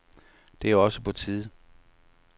Det er også på tide.